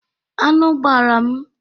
Anụ gbara m.